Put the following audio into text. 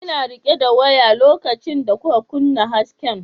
Ina rike da waya lokacin da kuka kunna hasken.